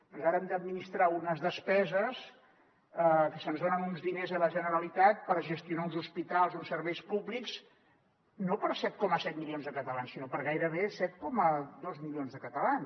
doncs ara hem d’administrar unes despeses que se’ns donen uns diners a la generalitat per gestionar uns hospitals uns serveis públics no per a set coma set milions de catalans sinó per a gairebé set coma dos milions de catalans